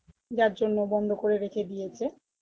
যার জন্য বন্ধ করে রেখে দিয়েছে